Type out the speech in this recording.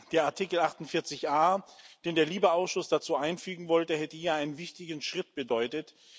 Der Artikel 48a, den der LIBE-Ausschuss dazu einfügen wollte, hätte hier einen wichtigen Schritt bedeutet.